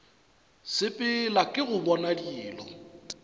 sepela ke go bona dilo